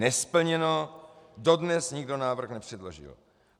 Nesplněno, dodnes nikdo návrh nepředložil.